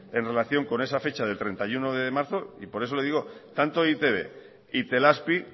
en relación con esa fecha del treinta y uno de marzo y por eso le digo tanto e i te be e itelazpi